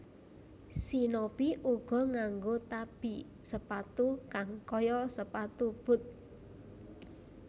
Shinobi uga nganggo tabi sepatu kang kaya sepatu boot